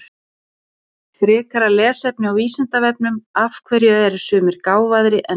Frekara lesefni á Vísindavefnum Af hverju eru sumir gáfaðri en aðrir?